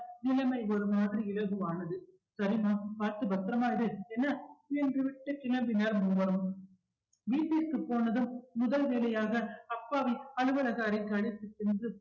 நிலைமை ஒரு மாதிரி இலகுவானது சரிம்மா பார்த்து பத்திரமா இரு என்ன என்று விட்டு கிளம்பினர் மூவரும் வீட்டிற்கு போனதும் முதல் வேலையாக அப்பாவின் அலுவலகம் அறைக்கு அழைத்துச் சென்று